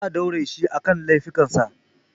Zaa daure shi kan lafikan sa